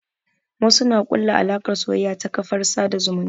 Wasu na ƙulla alaƙar soyayya ta kafar sada zumunta.